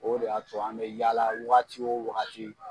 O de y'a to an bɛ yaala wagati o wagati.